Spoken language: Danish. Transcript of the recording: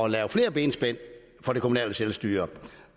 lave flere benspænd for det kommunale selvstyre